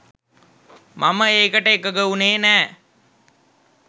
මම ඒකට එකඟ වුණේ නෑ